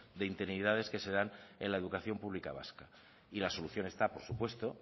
de interinidades que se dan en la educación pública vasca y la solución está por supuesto